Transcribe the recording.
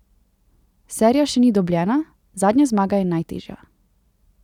Serija še ni dobljena, zadnja zmaga je najtežja.